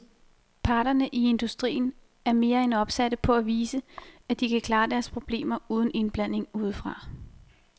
Parterne i industrien er mere end opsatte på at vise, at de kan klare deres problemer uden indblanding udefra.